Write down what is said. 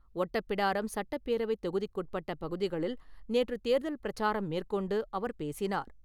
ஒட்டப்பிடாரம் சட்டப்பேரவை தொகுதிக்குட்பட்ட பகுதிகளில் நேற்று தேர்தல் பிரச்சாரம் மேற்கொண்டு அவர் பேசினார்.